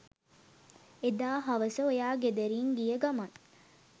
එදා හවස ඔයා ගෙදරින් ගිය ගමන්